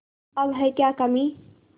अब है क्या कमीं